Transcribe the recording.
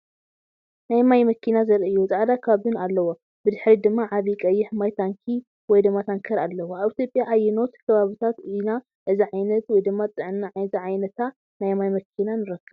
ናይ ማይ መኪና ዘርኢ እዩ። ጻዕዳ ካቢን ኣለዎ፣ ብድሕሪት ድማ ዓቢ ቀይሕ ማይ ታንኪ (ታንከር) ኣለዎ። ኣብ ኢትዮጵያ ኣብ ኣየኖት ከባቢታት ኢና እዚ ዓይነት "ጥዕና" ዝዓይነታ ናይ ማይ መኪና ንረክብ?